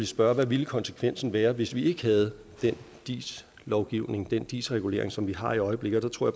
spørge hvad ville konsekvensen være hvis vi ikke havde den dis lovgivning den dis regulering som vi har i øjeblikket der tror